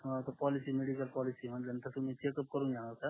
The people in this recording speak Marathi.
हम्म तर पोलिसी मेडिकल पोलिसी म्हटले न तुम्ही चेकअप करून घेणार का